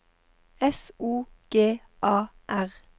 S O G A R